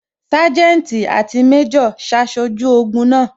Sanjeti àti méjò ṣaṣojú ogun náà